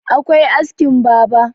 akwai askin baber